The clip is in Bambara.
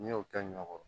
N'i y'o kɛ ɲɔ kɔrɔ